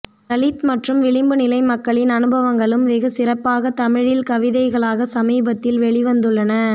தலித் மற்றும் விளிம்பு நிலை மக்களின் அனுபவங்களும் வெகு சிறப்பாக தமிழில் கவிதைகளாக சமீபத்தில் வெளிவந்துள்ளன